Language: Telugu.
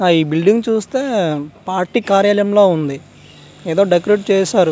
ఆ బిల్డింగ్ చూస్తే పార్టీ కార్యాలయం లా ఉంది ఏదో డెకరేట్ చేసారు.